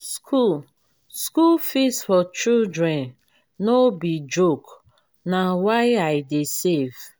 if you wan build your own house you gats start to save small-smal.